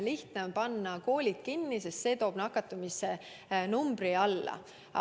Lihtne on panna koolid kinni ja see toob nakatumise numbri alla.